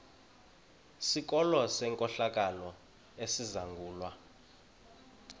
sikolo senkohlakalo esizangulwa